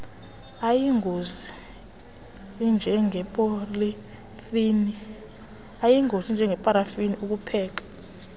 ayingozi anjengeparafini ukupheka